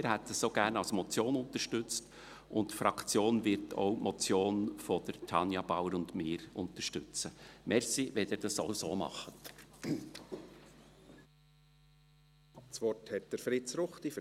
Wir hätten sie auch gerne als Motion unterstützt, und die Fraktion wird auch die Motion von Tanja Bauer und mir (M 069-2019) unterstützen.